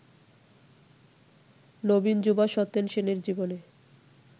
নবীন যুবা সত্যেন সেনের জীবনে